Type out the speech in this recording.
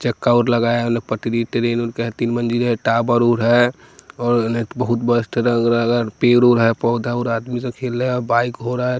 चक्का और लगाया है पटरी ट्रेन का तीन मंजिल है टावर उर है और बहुत बस्त लग रा पेर उर और है पौधा उर है आदमी से खेल रहा है बाइक हो रहा है।